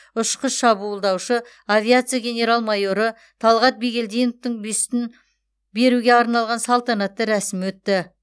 ұшқыш шабуылдаушы авиация генерал майоры талғат бигелдиновтің бюстін беруге арналған салтанатты рәсім өтті